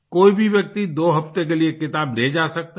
कोई भी व्यक्ति दो हफ्ते के लिए किताब ले जा सकता है